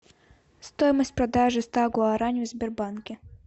стоимость продажи ста гуарани в сбербанке